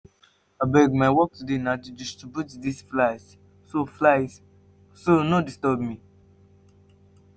abeg my work today na to distribute dis files so files so no disturb me